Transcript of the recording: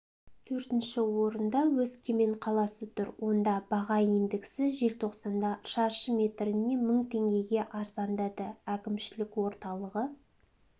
төртінші орында өскемен қаласы тұр онда баға индексі желтоқсанда шаршы метріне мың теңгеге арзандады әкімшілік орталығы